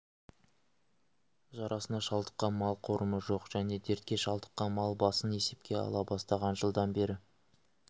жарасына шалдыққан мал қорымы жоқ және дертке шалдыққан мал басын есепке ала бастаған жылдан бері